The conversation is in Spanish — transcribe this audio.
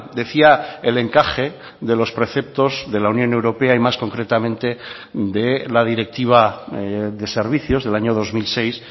decía el encaje de los preceptos de la unión europea y más concretamente de la directiva de servicios del año dos mil seis